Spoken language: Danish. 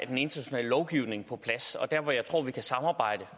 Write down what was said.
den internationale lovgivning er på plads og der hvor jeg tror vi kan samarbejde